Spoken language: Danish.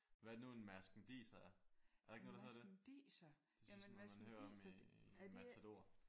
Hvad er det nu en marskandiser er? Er der ikke noget der hedder det? Det er sådan noget man hører om i Matador